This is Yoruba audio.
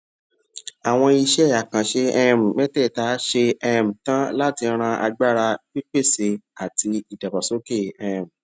àwọn iṣé àkànṣe um métèèta ṣe um tán láti ran agbára pípèsè àti ìdàgbàsókè um